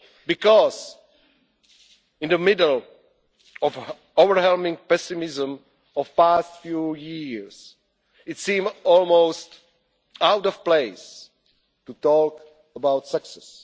Because in the middle of the overwhelming pessimism of the past few years, it seems almost out of place to talk about success.